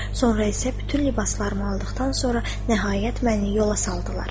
Sonra isə bütün libaslarımı aldıqdan sonra nəhayət məni yola saldılar.